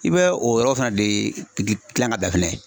I bɛ o yɔrɔ fana de de gilan ka da fɛnɛ